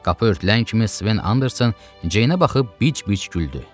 Qapı örtülən kimi Sven Anderson Ceyinə baxıb bic-bic güldü.